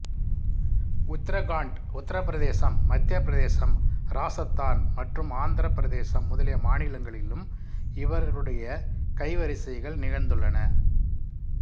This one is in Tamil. உத்தரகாண்ட் உத்தரப் பிரதேசம் மத்தியப் பிரதேசம் இராசத்தான் மற்றும் ஆந்திரப் பிரதேசம் முதலிய மாநிலங்களிலும் இவர்களுடைய கைவரிசைகள் நிகழ்ந்துள்ளன